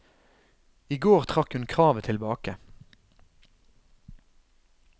I går trakk hun kravet tilbake.